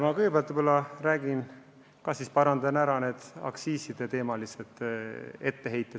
Ma kõigepealt vastan etteheidetele aktsiiside teemal.